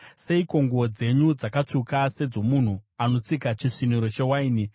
Seiko nguo dzenyu dzakatsvuka sedzomunhu anotsika chisviniro chewaini?